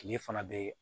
Kile fana bɛ